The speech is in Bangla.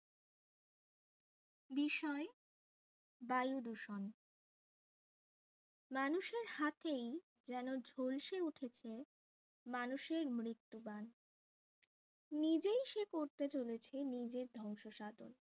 বিষয় বায়ু দূষণ মানুষের হাতেই যেন ঝলসে উঠেছে মানুষের মৃত্যু বান নিজেই সে করতে চলেছে নিজের ধ্বংস সাধন